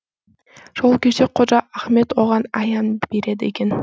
сол кезде қожа ахмет оған аян береді екен